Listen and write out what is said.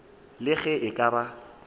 le ge e ka ba